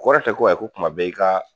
Kɔrɔ tɛ ko ayi ko kuma bɛɛ i ka.